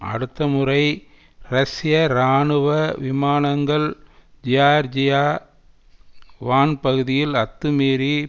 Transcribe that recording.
அடுத்த முறை ரஷ்ய இராணுவ விமானங்கள் ஜியார்ஜியா வான் பகுதியில் அத்துமீறி